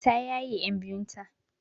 Ta yaye ƴan biyun ta.